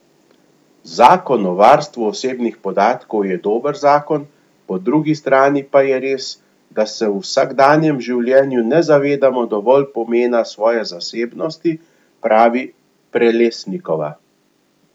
Zakon o varstvu osebnih podatkov je dober zakon, po drugi strani pa je res, da se v vsakdanjem življenju ne zavedamo dovolj pomena svoje zasebnosti, pravi Prelesnikova.